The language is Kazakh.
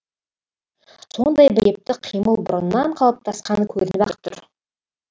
сондай бір епті қимыл бұрыннан қалыптасқаны көрініп ақ тұр